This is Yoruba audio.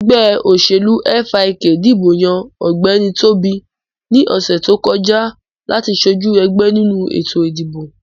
Ẹgbẹ́ òṣèlú FIK dìbò yàn Ọ̀gbẹ́ni Tóbi ní ọ̀sè tó kọjá láti sojú ẹgbẹ nínú ètò ìdìbò